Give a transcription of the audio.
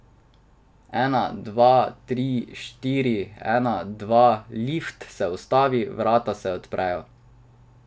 En, dva, tri, štiri, en, dva, lift se ustavi, vrata se odprejo.